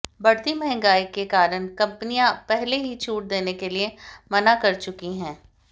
बढ़ती महंगाई के कारण कंपनियां पहले ही छूट देने के लिए मना कर चुकी हैं